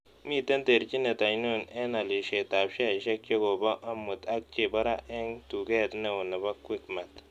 Miten terchinet ainon eng' alisietap sheaisiek chegoboo amut ak chebo raa eng' tuug'eet neo ne po quickmart